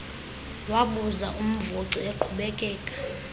wabuza umvoci eqhubekeka